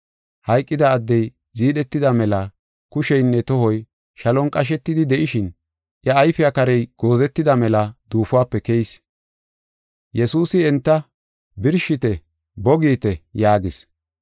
Hayqida addey ziidhetida mela kusheynne tohoy shalon qashetidi de7ishin iya ayfey karey goozetida mela duufuwape keyis. Yesuusi enta, “Birshite, bo giite!” yaagis.